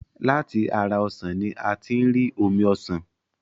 Láti ara ọsàn ni a tí ń rí omi ọsàn.